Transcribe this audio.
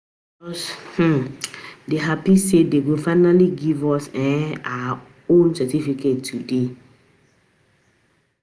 I just um dey happy say dey go finally give us um our us um our certificate today